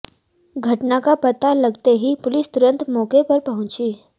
घटना का पता लगते ही पुलिस तुरंत मौके पर पहुंची